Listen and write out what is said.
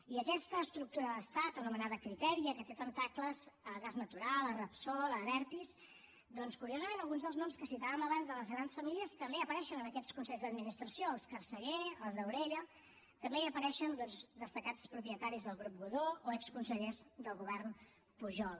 i aquesta estructura d’estat anomenada criteria que té tentacles a gas natural a repsol a abertis doncs curiosament alguns dels noms que citaven abans de les grans famílies també apareixen en aquests consells d’administració els carceller els daurella també hi apareixen doncs destacats propietaris del grup godó o exconsellers del govern pujol